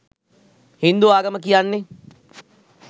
හින්දු ආගම කියන්නේ